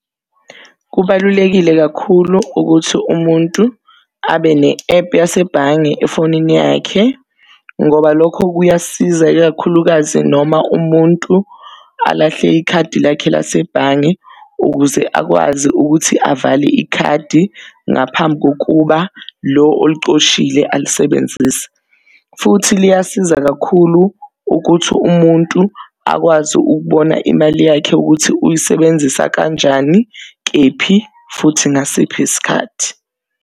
Kubalulekile kakhulu ukuthi umuntu abe ne-epu yasebhange efonini yakhe ngoba lokho kuyasiza ikakhulukazi noma umuntu alahle ikhadi lakhe lasebhange. Ukuze akwazi ukuthi avale ikhadi ngaphambi kokuba lo olicoshile alisebenzise. Futhi liyasiza kakhulu ukuthi umuntu akwazi ukubona imali yakhe ukuthi uyisebenzisa kanjani, kephi, futhi ngasiphi isikhathi.